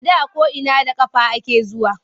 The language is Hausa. A da ko’ina da ƙafa ake zuwa.